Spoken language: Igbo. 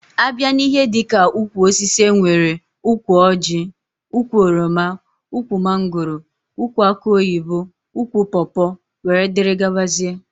A bịa n'ihe dika ụkwụ osisi enwere ụkwụ Orji, ụkwụ oroma, ụkwụ mangóró, ụkwụ akụ oyibo, ụkwụ pópó wdg.